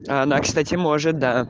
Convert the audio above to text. а она кстати может да